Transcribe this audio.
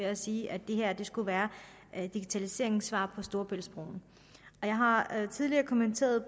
at sige at det her skulle være digitaliseringens svar på storebæltsbroen jeg har tidligere kommenteret